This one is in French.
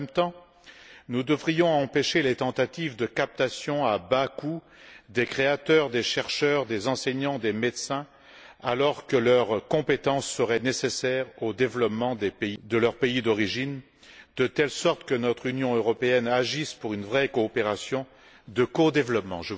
En même temps, nous devrions empêcher les tentatives de captation à bas coût des créateurs, des chercheurs, des enseignants, des médecins, alors que leurs compétences seraient nécessaires au développement de leur pays d'origine, de telle sorte que notre Union européenne agisse pour une vraie coopération de codéveloppement.